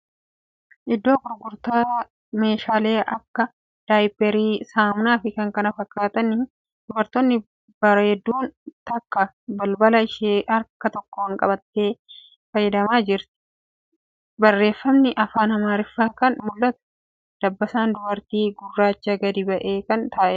Iddoo gurgurtaati meeshalee akka Daayipparii, saamunaa fii k.k.f niidha. Dubartii bareedduun takka bilbila ishee harka tokkoon qabattee fayyadamaa jirti. Barreeffamni afaan Amaariffaa kan mul'atuudha. Dabbasaan dubartii gurracha gadi bu'aa kan ta'eedha.